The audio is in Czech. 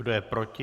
Kdo je proti?